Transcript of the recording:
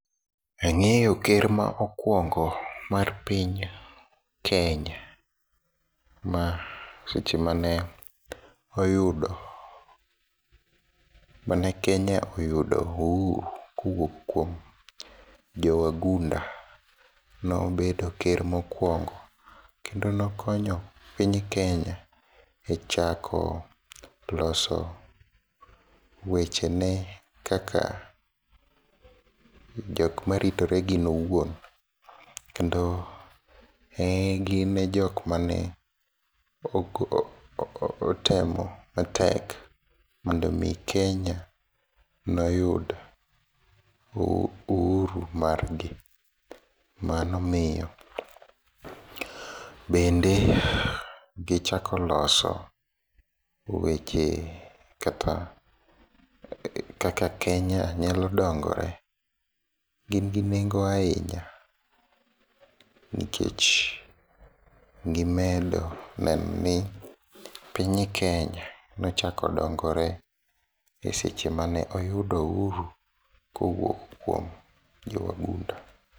Ang'eyo ker maokuongo mar piny Kenya, masechemane oyudo mane Kenya oyudo uhuru kowuok kuom jowagunda nobedo ker mokuongo kendo nokonyo piny kenya e chako loso wechene kaka jokma ritore gin owuon, kendo en gine jokmane otemo matek mondomi Kenya noyud uhuru margi. Mano miyo, bende gichako loso weche kata kaka Kenya nyalo dongore, gin gi nengo ahinya nikech gimedo nenoni piny Kenya nochako dongore e seche mane oyudo uhuru kowuok kuom jowagund.